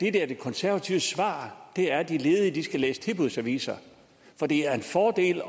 er de konservatives svar er at de ledige skal læse tilbudsaviser for det er en fordel